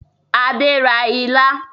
Adé ra ilá